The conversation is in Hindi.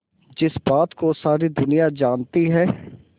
जिस बात को सारी दुनिया जानती है